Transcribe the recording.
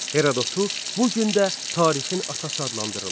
Herododu bu gün də tarixin atası adlandırırlar.